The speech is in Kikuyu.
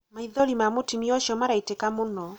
maithori ma mũtumia ũcio maraitĩka mũno